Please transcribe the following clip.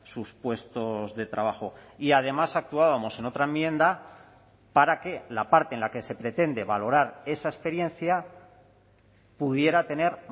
sus puestos de trabajo y además actuábamos en otra enmienda para que la parte en la que se pretende valorar esa experiencia pudiera tener